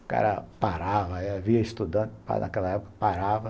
O cara parava, havia estudantes naquela época, parava.